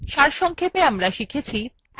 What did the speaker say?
আবার slides ফিরে যাওয়া যাক